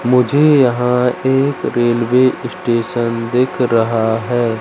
मुझे यहां एक रेलवे स्टेशन दिख रहा है।